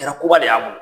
Kɛra koba de y'an bolo